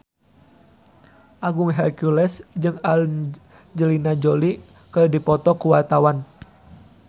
Agung Hercules jeung Angelina Jolie keur dipoto ku wartawan